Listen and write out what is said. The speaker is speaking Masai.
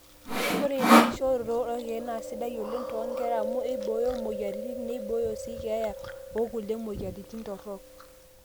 ore inaakishoroto oorkeek naa sidai oleng too nkera amu eibooyo imweyiaritin neibooyo sii keeya okulie mweyiaritin torok